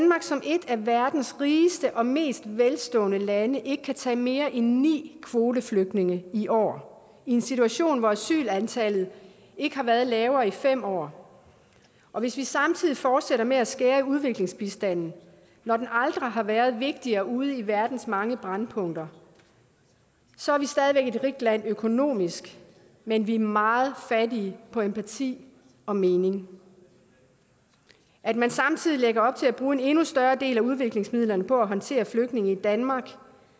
som et af verdens rigeste og mest velstående lande ikke kan tage mere end ni kvoteflygtninge i år i en situation hvor asylantallet ikke har været lavere i fem år og hvis vi samtidig fortsætter med at skære i udviklingsbistanden når den aldrig har været vigtigere ude i verdens mange brændpunkter så er vi stadig væk et rigt land økonomisk men vi er meget fattige på empati og mening at man samtidig lægger op til at bruge en endnu større del af udviklingsmidlerne på at håndtere flygtninge i danmark